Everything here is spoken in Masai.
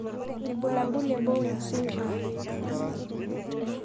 Ibulabul le Bowen syndrome.